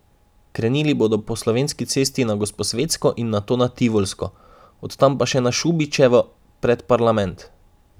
Krenili bodo po Slovenski cesti na Gosposvetsko in nato na Tivolsko, od tam pa na Šubičevo pred parlament.